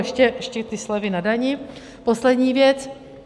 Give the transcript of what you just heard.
Ještě ty slevy na dani, poslední věc.